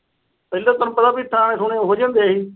ਪਹਿਲਾ ਤੈਨੂੰ ਪਤਾ ਥਾਣੇ ਥੂਣੇ ਇਹੋ ਜੇ ਹੁੰਦੇ ਸੀ।